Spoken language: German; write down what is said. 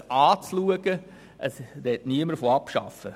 Es spricht niemand von Abschaffen.